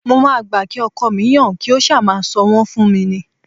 Mo máa gbà kí ọkọ mi yan kí ó ṣáá máa sọ wọn fún mi ni